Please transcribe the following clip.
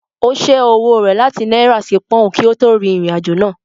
Ó ṣẹ́ owó rẹ̀ láti náírà sí pọùn kí ó tó rin ìrìn-àjò náà.